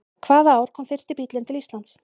Hvaða ár kom fyrsti bíllinn til Íslands?